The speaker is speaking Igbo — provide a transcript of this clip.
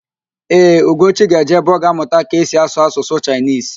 Ee, Ugochi ga-eje ebe ọ ga-amụta ka esi asụ Asụsụ Chaịnisi